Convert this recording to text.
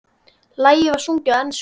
Lagið var sungið á ensku.